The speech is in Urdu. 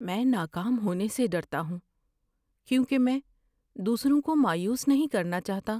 میں ناکام ہونے سے ڈرتا ہوں کیونکہ میں دوسروں کو مایوس نہیں کرنا چاہتا۔